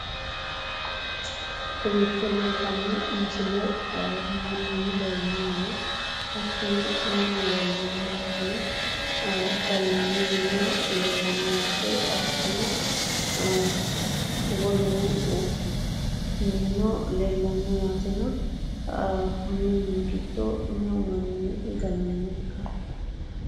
Kowiicho leeltanno misile mannuno leellanni no. Hattono minu leellanno yaatena, gallaanni minino leellanno yaate, hattono wolu minino leellanno yaatena, konni mini giddo meu manni galanno ikka?